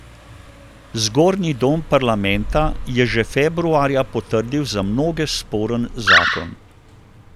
Zgornji dom parlamenta je že februarja potrdil za mnoge sporen zakon.